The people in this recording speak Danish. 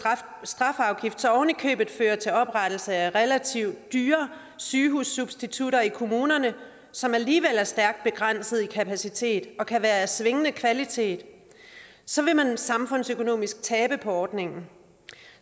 strafafgift så ovenikøbet fører til oprettelse af relativt dyre sygehussubstitutter i kommunerne som alligevel er stærkt begrænsede i kapacitet og kan være af svingende kvalitet så vil man samfundsøkonomisk tabe på ordningen